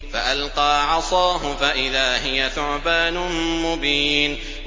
فَأَلْقَىٰ عَصَاهُ فَإِذَا هِيَ ثُعْبَانٌ مُّبِينٌ